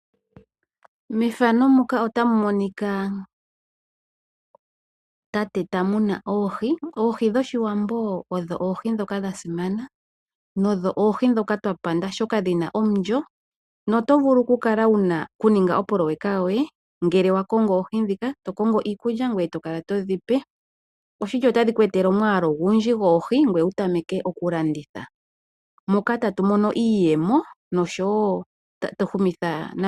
Methano muka otamu monika tate ta muna oohi. Oohi dhoshiwambo odho oohi dhoka dhasimana nodho oohi dhoka twapanda oshoka dhina omulyo. No tovulu oku ninga opoloyeka yoye ngele wakongo oohi ndhika eto kongo iikulya etokala todhipe. Oshili otadhi ku etele omwaalu ogundji goohi ngweye wu tameke okulanditha moka tatu mono iiyemo noshowo motatu humitha komeho eliko.